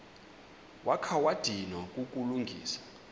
wakha wadinwa kukulungisa